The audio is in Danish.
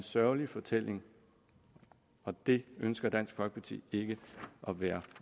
sørgelig fortælling og det ønsker dansk folkeparti ikke at være